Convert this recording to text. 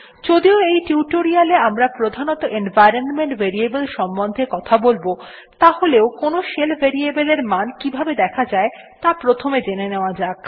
যদিও এই টিউটোরিয়ালে এ আমরা প্রধানত এনভাইরনমেন্ট ভেরিয়েবল সম্বন্ধে কথা বলব তাহলেও কোনো শেল ভেরিয়েবল এর মান কিভাবে দেখা যায় ত়া প্রথমে জেনে নেওয়া যাক